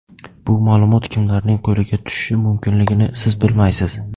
Bu ma’lumot kimlarning qo‘liga tushishi mumkinligini siz bilmaysiz.